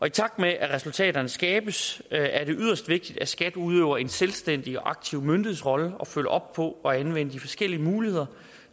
i takt med at resultaterne skabes er det yderst vigtigt at skat udøver en selvstændig og aktiv myndighedsrolle og følger op på at anvende de forskellige muligheder